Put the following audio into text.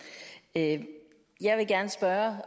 at høre